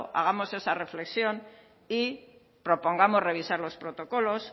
hagamos esa reflexión y propongamos revisar los protocolos